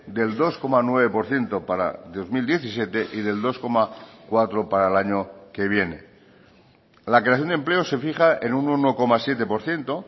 del dos coma nueve por ciento para dos mil diecisiete y del dos coma cuatro para el año que viene la creación de empleo se fija en un uno coma siete por ciento